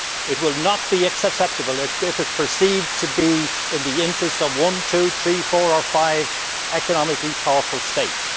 It will not be acceptable if it is perceived to be in the interests of one, two, three, four or five economically powerful States.